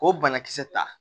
K'o banakisɛ ta